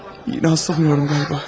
Yenə hastalanıyorum qaba.